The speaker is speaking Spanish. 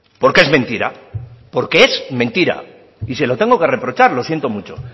porque es mentira porque es mentira y se lo tengo que reprochar lo siento mucho